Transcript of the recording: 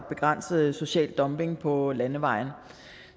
begrænse social dumping på landevejene